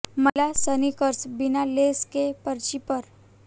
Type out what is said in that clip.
महिला स्नीकर्स बिना लेस के पर्ची पर